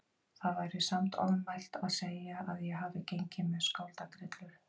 Það væri samt ofmælt að segja að ég hafi gengið með skáldagrillur.